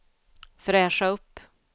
fräscha upp